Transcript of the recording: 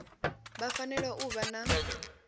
vha fanela u vha na